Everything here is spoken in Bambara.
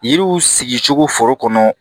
Yiriw sigicogo foro kɔnɔ